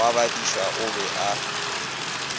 wa badiša o be a